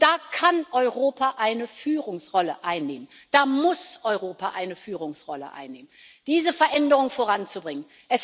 Und da kann Europa eine Führungsrolle einnehmen, da muss Europa eine Führungsrolle einnehmen, um diese Veränderung voranzubringen.